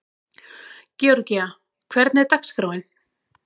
Georgía, hvernig er dagskráin?